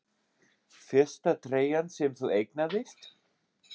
Fyrsta treyjan sem þú eignaðist?